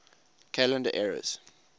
calendar eras